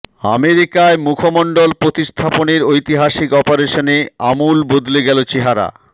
আমেরিকায় মুখমণ্ডল প্রতিস্থাপনের ঐতিহাসিক অপারেশনে আমূল বদলে গেল চেহারা